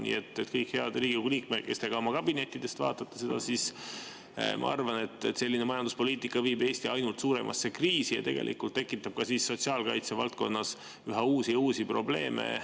Nii et kõik head Riigikogu liikmed, kes te ka oma kabinettidest vaatate seda, ma arvan, et selline majanduspoliitika viib Eesti ainult suuremasse kriisi ja tegelikult tekitab ka sotsiaalkaitsevaldkonnas üha uusi ja uusi probleeme.